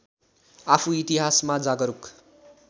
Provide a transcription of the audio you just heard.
आफू इतिहासमा जागरुक